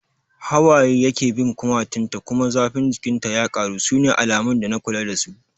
Hawaye yake bin kumatun ta kuma zafin jikin ta ya karu, sune alamun dana kula da su